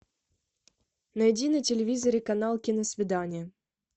найди на телевизоре канал киносвидание